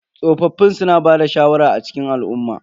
Tsofaffin suna bada shawara a cikin al'umma.